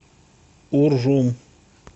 уржум